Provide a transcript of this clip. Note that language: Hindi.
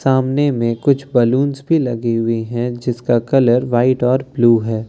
सामने में कुछ बलून्स भी लगे हुए हैं जिसका कलर व्हाइट और ब्लू है।